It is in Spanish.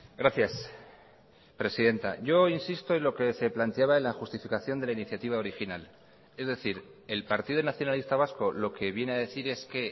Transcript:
gracias presidenta yo insisto en lo que se planteaba en la justificación de la iniciativa original es decir el partido nacionalista vasco lo que viene a decir es que